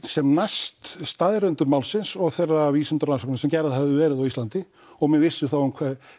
sem næst staðreyndum málsins og þeirra vísindarannsókna sem gerðar höfðu verið á Íslandi og menn vissu þá